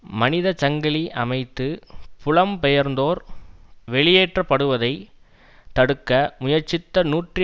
மனிதசங்கிலி அமைத்து புலம்பெயர்ந்தோர் வெளியேற்றப்படுவதை தடுக்க முயற்சித்த நூற்றி